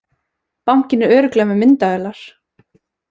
Bankinn er örugglega með myndavélar